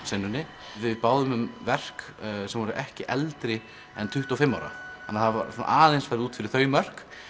samtímatónlistarsenunni við báðum um verk sem voru ekki eldri en tuttugu og fimm ára það var aðeins farið út fyrir þau mörk